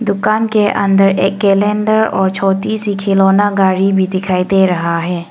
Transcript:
दुकान के अंदर एक कैलेंडर और छोटी सी खिलौना गाड़ी भी दिखाई दे रहा है।